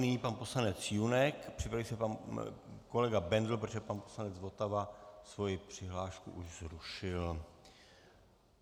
Nyní pan poslanec Junek, připraví se pan kolega Bendl, protože pan poslanec Votava svoji přihlášku už zrušil.